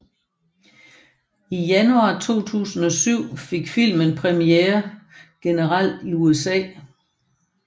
I januar 2007 fik filmen premiere generelt i USA